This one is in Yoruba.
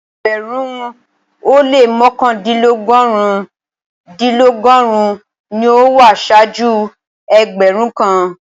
Ẹgbẹ̀rún-un o lẹ́ mọkandinlọgọ́run-dinlọgọ́run ní o wà ṣáàjú ẹgbẹ̀rún kàn.